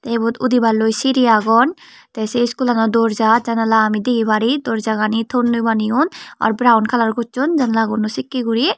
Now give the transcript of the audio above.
tey ebot odebar loi seri agon te se iskul lanot dorja janala degi pare dorjaganet tonnoi baneyoun beraoun kalar gosone janalaono sekay guri.